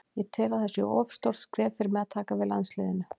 Ég tel að það sé of stórt skref fyrir mig að taka við landsliðinu.